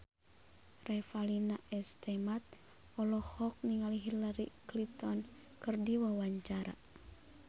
Revalina S. Temat olohok ningali Hillary Clinton keur diwawancara